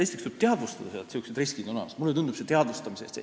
Esiteks tuleb teadvustada, et sellised riskid on olemas.